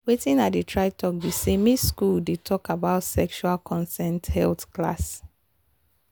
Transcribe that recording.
watin i dey try talk be say make school dey talk about sexual consent health class